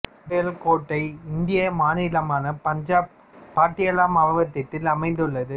பாயல் கோட்டை இந்திய மாநிலமான பஞ்சாபின் பாட்டியாலா மாவட்டத்தில் அமைந்துள்ளது